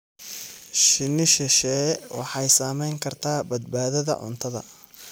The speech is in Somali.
Shinni shisheeye waxay saamayn kartaa badbaadada cuntada.